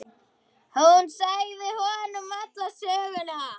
Hún sagði honum alla söguna.